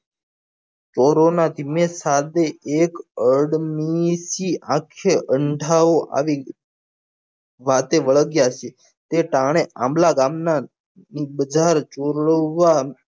થોરો ના સામે આંખે અંધારો આવી ગયો વાતે વળગ્યા હશે તે ટાણે આંબલા ધામ નાં બધા જોલવા